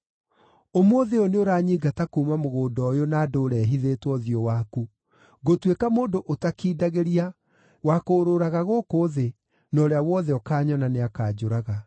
Ũmũthĩ ũyũ nĩũranyingata kuuma mũgũnda ũyũ na ndũũre hithĩtwo ũthiũ waku; ngũtuĩka mũndũ ũtakindagĩria, wa kũũrũũraga gũkũ thĩ, na ũrĩa wothe ũkaanyona nĩakanjũraga.”